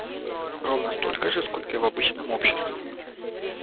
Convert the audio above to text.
ровно столько же сколько и в обычном обществе